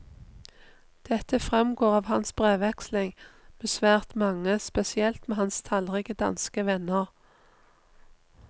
Dette fremgår av hans brevveksling med svært mange, spesielt med hans tallrike danske venner.